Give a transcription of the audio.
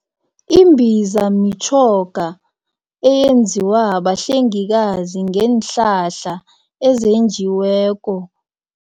Imbiza mitjhoga eyenziwa bahlengikazi ngeenhlahla ezenjiweko.